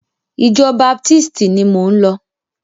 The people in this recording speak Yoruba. Ìjọ baptisti ni mò ń lọ.